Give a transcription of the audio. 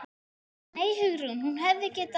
Nei, Hugrún, hún hefði getað.